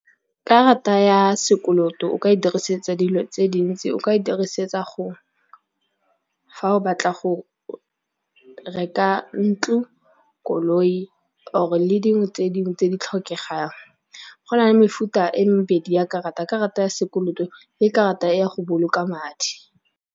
Karata ya sekoloto o ka e dirisetsa dilo tse dintsi o ka e dirisetsa fa o batla go reka ntlo, koloi or le dingwe tse ding tse di tlhokegang. Go na le mefuta e mebedi ya karata, karata ya sekoloto le karata ya go boloka madi.